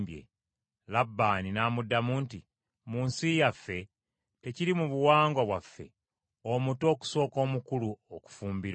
Labbaani n’amuddamu nti, “Mu nsi yaffe tekiri mu buwangwa bwaffe, omuto okusooka omukulu okufumbirwa.